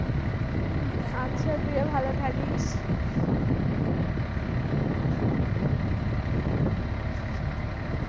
হম আচ্ছা তুইও ভালো থাকিস।